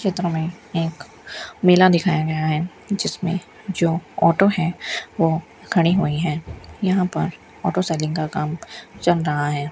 चित्र में एक मेला दिखाया गया है जिसमें जो ऑटो है वो खड़ी हुई है यहां पर ऑटो सेलिंग का काम चल रहा है।